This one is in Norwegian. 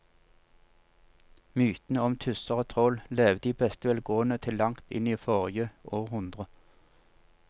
Mytene om tusser og troll levde i beste velgående til langt inn i forrige århundre.